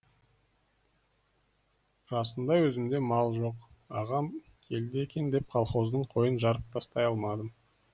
расында өзімде мал жоқ ағам келді екен деп колхоздың қойын жарып тастай алмадым